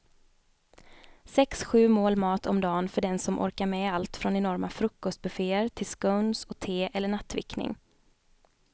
Sex, sju mål mat om dagen för den som orkar med allt från enorma frukostbufféer till scones och te eller nattvickning.